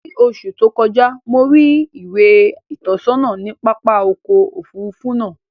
Ni oṣù tó kọjá, mo rí ìwé ìtọ́sọ́nà ní pápá ọkọ̀ Òfurufú náà